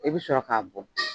I bɛ sɔrɔ k'a bugɔ.